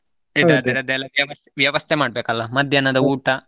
ಅದ್ರದೆಲ್ಲ ವ್ಯವಸ್ತೆ, ವ್ಯವಸ್ಥೆ ಮಾಡಬೇಕಲ್ಲಾ ಮಧ್ಯಾಹ್ನದ ಊಟ?